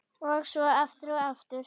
Og svo aftur, og aftur.